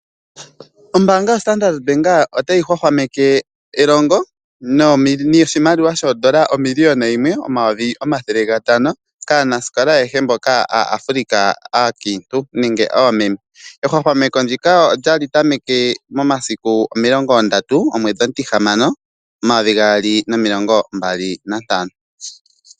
Ombaanga yoStandrd bank otayi hwahwameke noshimaliwa shoondola omiliyona yimwe nomayovi omathele gatano kaa